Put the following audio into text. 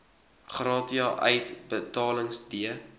gratia uitbetalings d